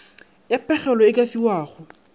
ya pegelo e ka fiwago